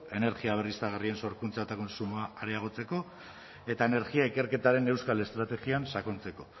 energia berriztagarrien sorkuntza eta kontsumoa areagotzeko eta energia ikerketaren euskal estrategian sakontzeko